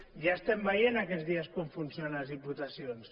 ja estem veient aquests dies com funcionen les diputacions